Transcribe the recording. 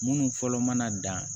Minnu fɔlɔ mana dan